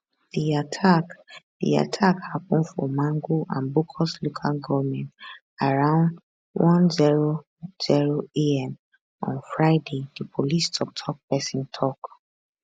di attack di attack happun for mangu and bokkos local goment around one hundred am on friday di police toktok pesin tok